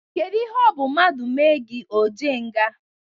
Kede ihe ọ bụ mmadụ mee o jee nga?